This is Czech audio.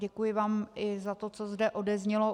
Děkuji vám i za to, co zde odeznělo.